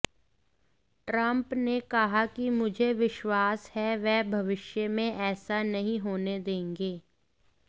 Trump ने कहा कि मुझे विश्वास है वह भविष्य में ऐसा नहीं होने देंगे